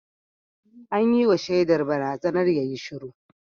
An yi wa shaidar barazanar yayi shiru